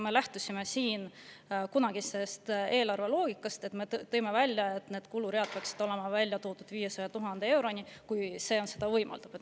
Me lähtusime siin kunagisest eelarveloogikast ja tõime välja, et kuluread peaksid olema välja toodud kuni 500 000 euroni, kui see on võimalik.